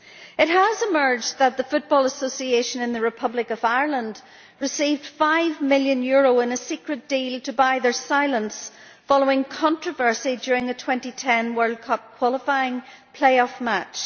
It has emerged that the Football Association in the Republic of Ireland received five million euros in a secret deal to buy its silence following controversy during a 2010 World Cup qualifying playoff match.